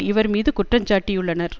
இவர் மீது குற்றஞ்சாட்டியுள்ளனர்